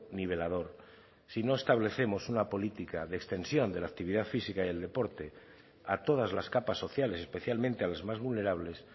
nivelador si no establecemos una política de extensión de la actividad física y el deporte a todas las capas sociales especialmente a las más vulnerables